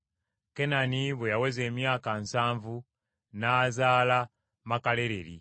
Kenani bwe yaweza emyaka nsanvu n’azaala Makalaleri.